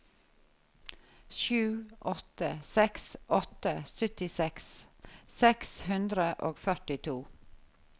sju åtte seks åtte syttiseks seks hundre og førtito